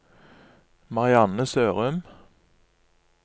Marianne Sørum